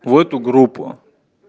в эту группу